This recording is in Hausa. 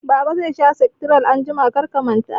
Baba zai sha sektiral anjima, kar ka manta